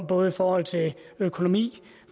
både i forhold til økonomi